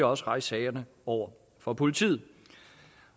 også rejse sagerne over for politiet